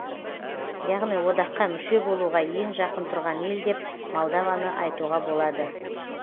яғни одаққа мүше болуға ең жақын тұрған ел деп молдованы айтуға болады